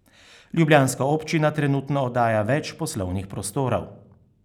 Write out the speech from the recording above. Ljubljanska občina trenutno oddaja več poslovnih prostorov.